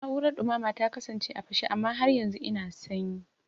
Na'urar dumama ta kasance a fashe amma har yanzu ina sanyi